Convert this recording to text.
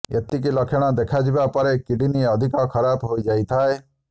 ଏତିକି ଲକ୍ଷଣ ଦେଖାଇବା ବେଳକୁ କିଡ୍ନି ଅଧିକ ଖରାପ ହୋଇଯାଇଥାଏ